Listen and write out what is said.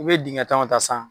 U bɛ dingɛ tan o ta sisan.